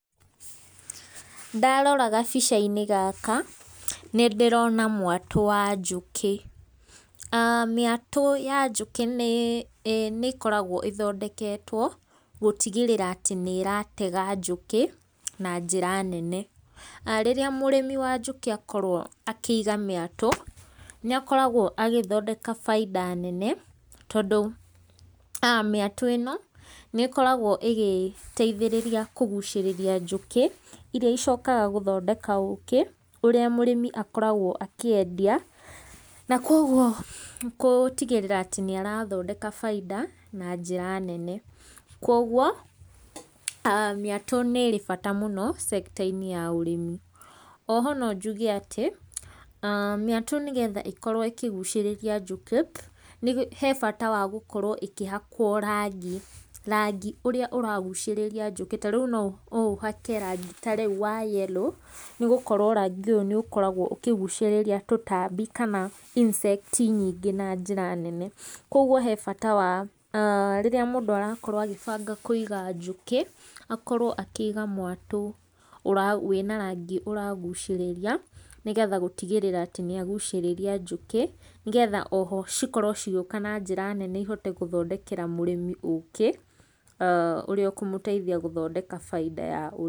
Ndarora gabica-inĩ gaka, nĩndĩrona mwatũ wa njũkĩ. aah mĩatũ ya njũkĩ nĩĩ nĩĩkoragwo ĩthondeketwo gũtigĩrĩra atĩ nĩ ĩratega njũkĩ na njĩra nene. Rĩrĩa mũrimĩ wa njũkĩ akorwo akĩiga mĩatũ, nĩakoragwo agĩthondeka bainda nene tondũ um mĩatũ ĩno, nĩgokagwo ĩgĩteithĩrĩria kũgucĩrĩria njũkĩ iria icokaga gũthondeka ũkĩ, ũrĩa mũrimi akoragwo akĩendia na koguo gũũtigĩrĩra atĩ nĩarathondeka baita na njĩra nene. Koguo um mĩatũ nĩĩrĩ bata mũno sector inĩ ya ũrĩmi. O ho no njuge atĩ um mĩatũ nĩgetha ĩkorwo ĩkĩgucĩrĩria njũkĩ, he bata wa gũkorwo ĩkĩhakwo rangi, rangi ũrĩa ũragucĩrĩria njũkĩ ta rĩu noũhake rangi ta rĩu wa yellow nĩgũkorwo rangi ũyũ nĩũkoragwo ũkĩgucĩrĩria tũtambi kana insect nyingĩ na njĩra nene. Koguo he bata wa aah rĩrĩa mũndũ arakorwo agĩbanga kũiga njũkĩ akorwo akĩiga mwatũ wĩna rangi ũragucĩrĩria, nĩgetha gũtigĩrĩra atĩ nĩagucĩrĩria njũkĩ, nĩgetha o ho cikorwo cigĩũka na njĩra nene ihote kũthondekera mũrimi ũkĩ aah ũrĩa ũkũmũteithia gũthondeka bainda ya...